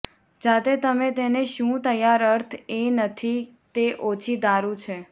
જાતે તમે તેને શું તૈયાર અર્થ એ નથી કે તે ઓછી દારૂ છે